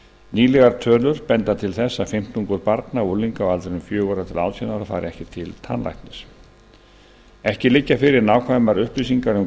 nýlegar tölur benda til þess að fimmtungur barna og unglinga á aldrinum fjögurra til átján ára fari ekki til tannlæknis ekki liggja fyrir nákvæmar upplýsingar um kostnað